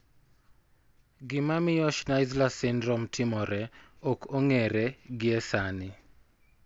Gima miyo Schnitzler syndrome timore ok ong'ere gie sani.